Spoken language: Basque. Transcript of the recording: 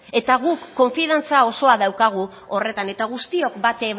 eta guk konfiantza guztia daukagu horretan eta guztiok bat